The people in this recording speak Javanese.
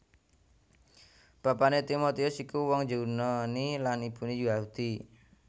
Bapané Timotius iku wong Yunani lan ibuné Yahudi